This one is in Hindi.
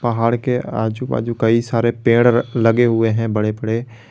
पहाड़ के आजू बाजू कई सारे पेड़ लगे हुए है बड़े बड़े।